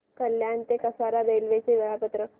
कल्याण ते कसारा रेल्वे चे वेळापत्रक